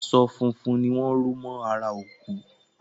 Aṣọ funfun ni wọ́n ró mọ́ ara òkú